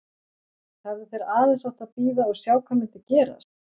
Hefðu þeir aðeins átt að bíða og sjá hvað myndi gerast?